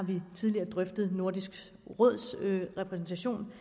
tidligere drøftet nordisk råds repræsentation